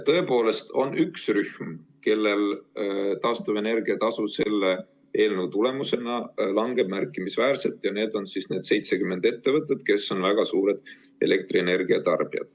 Tõepoolest on üks rühm, kellel taastuvenergia tasu selle eelnõu tulemusena märkimisväärselt langeb, ja need on need 70 ettevõtet, kes on väga suured elektrienergia tarbijad.